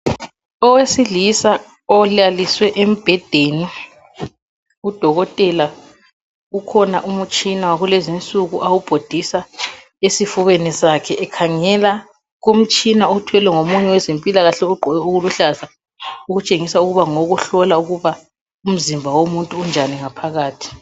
Owesilisa olaliswe embhedeni, udokotela ukhona umtshina kulezinsuku awubhodisa esifubeni sakhe ekhangela kumtshina othwelwe ngomunye wezempilakahle ogqoke okuluhlaza okutshengisa ukuba ngowokuhlola ukuba umzimba womuntu unjani ngaphakathi.